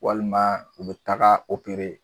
Walima u be taga opere